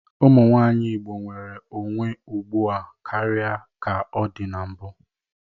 Ụmụnwaanyị Igbo nwere onwe ugbu a karịa ka ọ dị na mbụ.